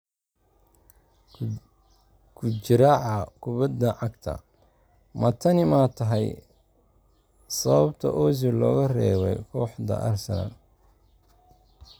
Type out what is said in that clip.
(Kujiraxaa Kubadda Cagta) Ma tani ma tahay sababta Ozil looga reebay kooxda Arsenal?